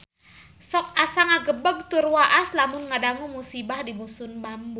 Sok asa ngagebeg tur waas lamun ngadangu musibah di Dusun Bambu